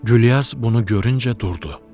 Gülyaz bunu görüncə durdu.